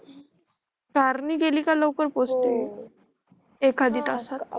car नि गेली कि लवकर पोहचते एखादी तासात